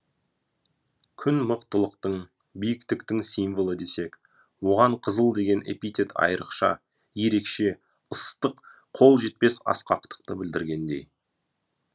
күн мықтылықтың біиктіктің символы десек оған қызыл деген эпитет айырықша ерекше ыстық қол жетпес асқақтықты білдіргендей